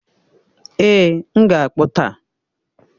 Ee, m ga-akpu taa